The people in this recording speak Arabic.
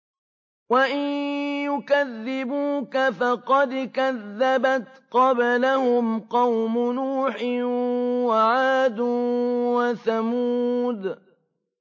وَإِن يُكَذِّبُوكَ فَقَدْ كَذَّبَتْ قَبْلَهُمْ قَوْمُ نُوحٍ وَعَادٌ وَثَمُودُ